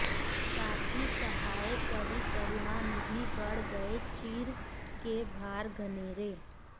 ताकी सहाय करी करुणानिधि बढ़ गये चीर के भार घनेरो